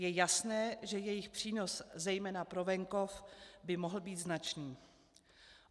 Je jasné, že jejich přínos zejména pro venkov by mohl být značný.